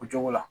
O cogo la